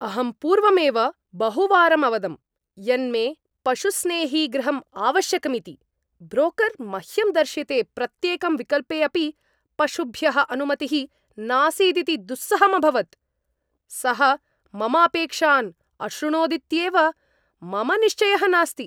अहं पूर्वमेव बहुवारम् अवदम् यन्मे पशुस्नेही गृहम् आवश्यकमिति। ब्रोकर् मह्यं दर्शिते प्रत्येकं विकल्पे अपि पशुभ्यः अनुमतिः नासीदिति दुस्सहम् अभवत्। सः मम अपेक्षान् अश्रुणोदित्येव मम निश्चयः नास्ति।